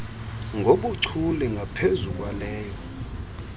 ngobuchule ngaphezu kwaleyo